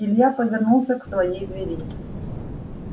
илья повернулся к своей двери